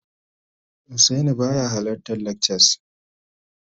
Husaini baya halartar lakcas